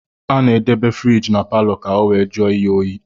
Ana edebe furige na paló ka ọ wee jụọ ihe óyi.